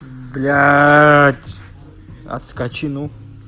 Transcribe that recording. блядь отскочи ну